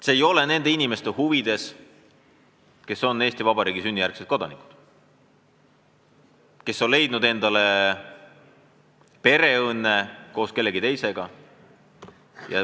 See ei ole nende inimeste huvides, kes on Eesti Vabariigi sünnijärgsed kodanikud, aga on leidnud endale pereõnne koos teise riigi kodanikuga.